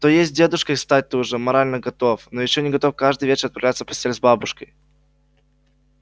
то есть дедушкой стать ты уже морально готов но ещё не готов каждый вечер отправляться в постель с бабушкой